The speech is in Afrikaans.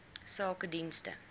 sakedienste